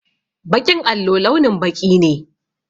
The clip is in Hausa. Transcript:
Baƙin allo launin baƙi ne.